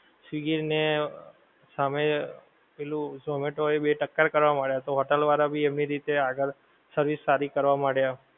Swiggy ને સામે પેલું ઝોમેટો એ બે ટક્કર કરવા માંડ્યા, તો હોટેલ વાળાં બે એમની રીતે આગળ service સારી કરવા માંડ્યા.